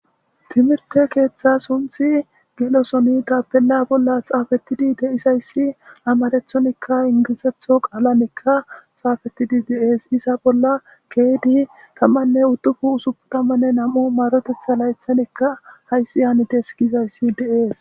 timirte keeththa sunthi gelosoni tapella bolla xaafetidi deisayssi amarethonikka ingisetho qaalanekka xaafetidi deees iza bolla keydi tammanne uddufu usupu tammanne nam7u marotetha laythanikka hayssi haanides giizayssi deees